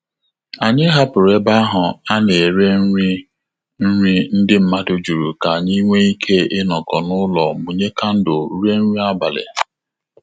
Anyị hapụrụ ebe ahụ ana ere nri nri ndị mmadụ jụrụ ka anyị nwe ike inọkọ n'ụlọ mụnye kandle rie nri abalị